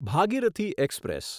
Bhagirathi express